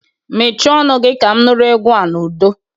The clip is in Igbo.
Mechie ọnụ gi! Ka m nụrụ egwu a n'udo.